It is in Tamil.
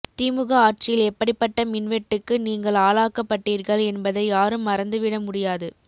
திமுக ஆட்சியில் எப்படிப்பட்ட மின்வெட்டுக்கு நீங்கள் ஆளாக்கப்பட்டீர்கள் என்பதை யாரும் மறந்துவிட முடியாது